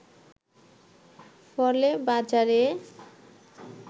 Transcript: ফলে বাজারে